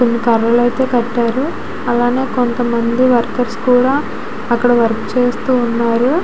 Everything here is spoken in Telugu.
కొన్ని కర్రలైతే కట్టారు అలానే కొంతమంది వర్కర్స్ కూడా అక్కడ వర్క్ చేస్తూ ఉన్నారు.